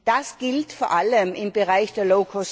Das gilt vor allem im Bereich der